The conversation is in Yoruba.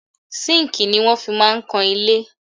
Sínkìì ni wọ́n fi máa ń kan ilé.